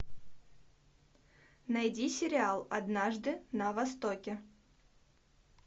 найди сериал однажды на востоке